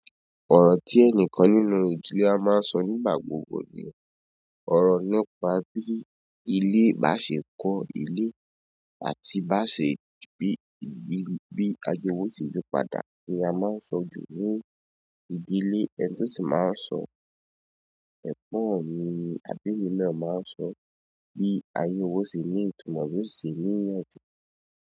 Ọ̀rọ̀ tí ẹnìkan nínú ìdílé máa ńsọ nígbà gbogbo ni ọ̀rọ̀ nípa bí ilé baá se kọ́ ilé àti baá se bí ayé é wa yó se yí padà ni a máa nsọ jú ní ilé, ẹni tò sì máa nsọ náà ni àbémí má náà ma ń sọ bí ayé wa ó ṣe ní ìtumọ̀, bí ó ṣe níyànjú.